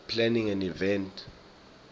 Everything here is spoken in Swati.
planning an event